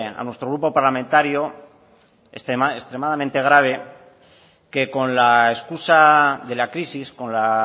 a nuestro grupo parlamentario extremadamente grave que con la escusa de la crisis con la